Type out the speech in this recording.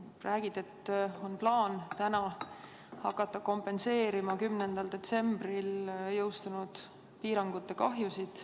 Sa räägid, et täna on plaan hakata kompenseerima 10. detsembril jõustunud piirangute kahjusid.